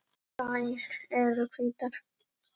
Þær eru hvítar.